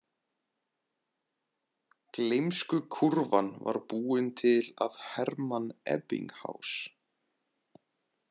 Gleymskukúrfan var búin til af Hermann Ebbinghás.